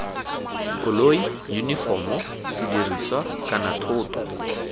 koloi yunifomo sedirisiwa kana thoto